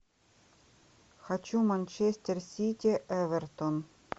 хочу манчестер сити эвертон